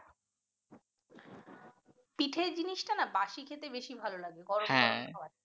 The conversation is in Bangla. পিঠে জিনিসটা না বাসি খেতে বেশি ভালও লাগে গরম গরম খাওয়ার থেকে